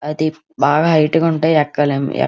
అది బాగా హైట్ ఉంటుంది ఎక్కలేం --